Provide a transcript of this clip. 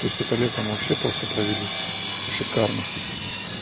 то есть это лето мы вообще просто провели шикарно